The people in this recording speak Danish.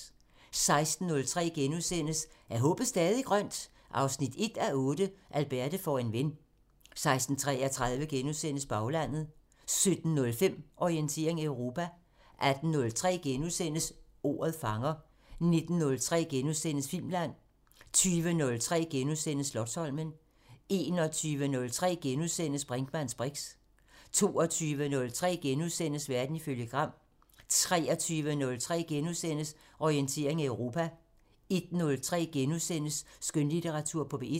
16:03: Er håbet stadig grønt? 1:8 – Alberte får en ven * 16:33: Baglandet * 17:05: Orientering Europa 18:03: Ordet fanger * 19:03: Filmland * 20:03: Slotsholmen * 21:03: Brinkmanns briks * 22:03: Verden ifølge Gram * 23:03: Orientering Europa * 01:03: Skønlitteratur på P1 *